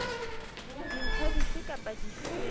dintlha dife kapa dife tse